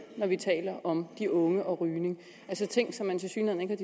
når vi taler om de unge og rygning altså ting som man tilsyneladende